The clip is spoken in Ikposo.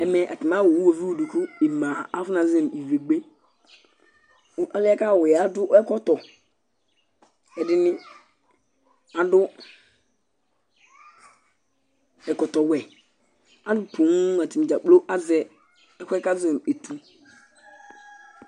Ɛmɛ atani awʋ ʋwovi'u di kʋ e'ma azuɛ nʋ "vegbe" Ɔliɛ kʋ awʋi yɛ adu ɛkɔtɔ Ɛdiní adu ɛkɔtɔ wɛ Alu poo atani dza kplo azɛ ɛkʋɛ kʋ azɔ nʋ "etʋ"